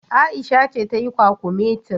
Aisha ce tayi kwakumetin.